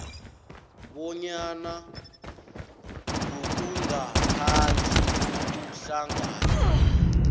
bonyana ngokungaphandle kokuhlanganyela